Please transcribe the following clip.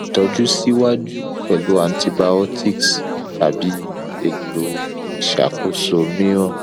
itoju si waju pelu antibiotics tabi eto isakoso miiran